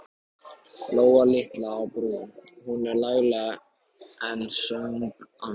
Lóa litla á Brú, hún er lagleg enn, söng hann.